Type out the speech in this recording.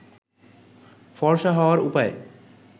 ফর্সা হওয়ার উপায়